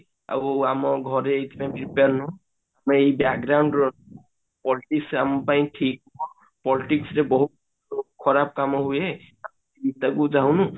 ଆଉ ମ ଘରେ ଏଇଥି ପାଇଁ prepare ନୁହଁ ଏଇ ର politics ଆମ ପାଇଁ ଠିକ ନୁହଁ politics ରେ ବହୁତ ଖରାପ କାମ ହୁଏ ଯିବାକୁ ଚାହୁଁନୁ